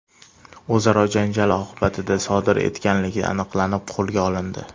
o‘zaro janjal oqibatida sodir etganligi aniqlanib, qo‘lga olindi.